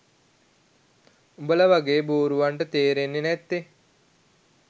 උඹල වගේ බූරුවන්ට තේරෙන්නෙ නැත්තෙ.